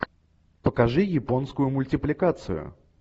покажи японскую мультипликацию